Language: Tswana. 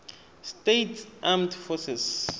states armed forces